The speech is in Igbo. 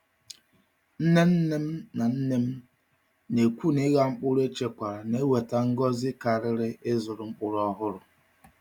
Nne nne m nne m na-ekwu na ịgha mkpụrụ echekwara na-eweta ngọzi karịrị ịzụrụ mkpụrụ ọhụrụ.